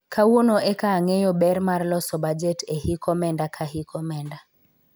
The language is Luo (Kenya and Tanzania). kawuono eka ang'eyo ber mar loso bajet e hik omenda ka hik omenda